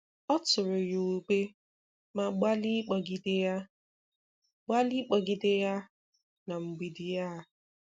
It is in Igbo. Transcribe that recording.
Ọ tụrụ ya ube ma gbalịa ịkpogide ya gbalịa ịkpogide ya na mgbidi. um